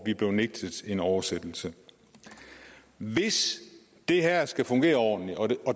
er blevet nægtet en oversættelse hvis det her skal fungere ordentligt og